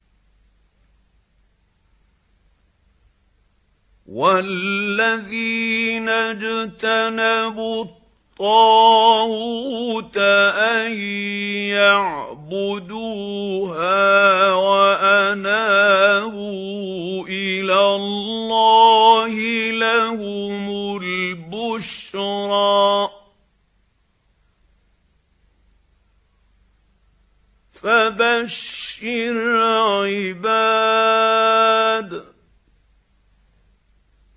وَالَّذِينَ اجْتَنَبُوا الطَّاغُوتَ أَن يَعْبُدُوهَا وَأَنَابُوا إِلَى اللَّهِ لَهُمُ الْبُشْرَىٰ ۚ فَبَشِّرْ عِبَادِ